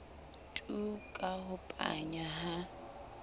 tu ka ho panya ha